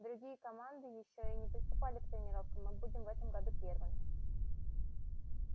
другие команды ещё и не приступали к тренировкам мы будем в этом году первыми